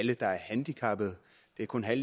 det kun er